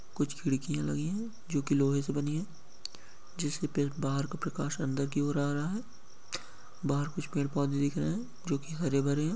कुछ खिड़कियां लगी है जो की लोहै से बनी है जिसके पेट बाहर का प्रकाश अंदर की और आ रहा है बाहार कुछ पेड़ पौधे दिख रहे है जो की हरे भरे है।